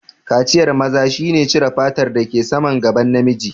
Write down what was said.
Kaciyan maza shi ne cire fatar da ke saman gaban namiji